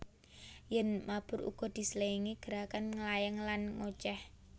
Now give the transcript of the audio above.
Yèn mabur uga diselingi gerakan nglayang lan ngocéh